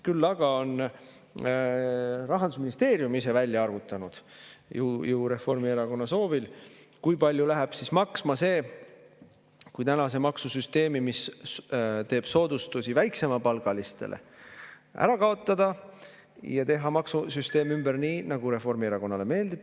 Küll aga on Rahandusministeerium ise välja arvutanud – ju Reformierakonna soovil –, kui palju läheb maksma see, kui tänane maksusüsteem, mis teeb soodustusi väiksemapalgalistele, ära kaotada ja teha maksusüsteem ümber nii, nagu Reformierakonnale meeldib.